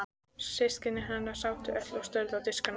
Systkini hennar sátu öll og störðu á diskana sína.